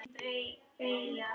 Meðan það er heitt.